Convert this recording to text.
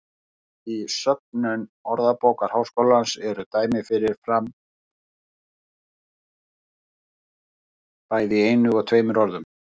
Í söfnum Orðabókar Háskólans eru dæmi um fyrir fram bæði í einu og tveimur orðum.